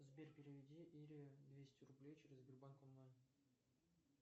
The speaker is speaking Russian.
сбер переведи ире двести рублей через сбербанк онлайн